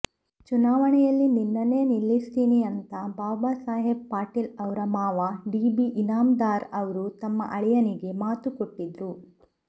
ಚುನಾವಣೆಯಲ್ಲಿ ನಿನ್ನನ್ನೇ ನಿಲ್ಲಿಸ್ತೀನಿ ಅಂತಾ ಬಾಬಾಸಾಹೇಬ ಪಾಟೀಲ್ ಅವ್ರ ಮಾವ ಡಿಬಿ ಇನಾಮದಾರ್ ಅವ್ರು ತಮ್ಮ ಅಳಿಯನಿಗೆ ಮಾತು ಕೊಟ್ಟಿದ್ರು